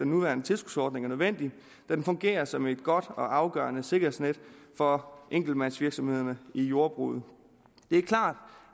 nuværende tilskudsordning er nødvendig da den fungerer som et godt og afgørende sikkerhedsnet for enkeltmandsvirksomhederne i jordbruget det er klart